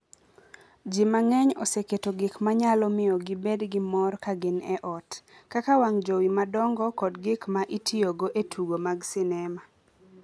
Ji mang’eny oseketo gik ma nyalo miyo gibed gi mor ka gin e ot, kaka wang' jowi madongo kod gik ma itiyogo e tugo mag sinema.